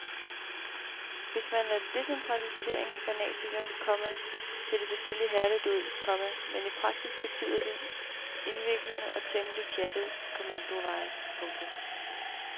Hvis man er decentraliseringsfanatiker, komma ser det selvfølgelig herligt ud, komma men i praksis betyder det indviklede og temmelig pjattede kommandoveje. punktum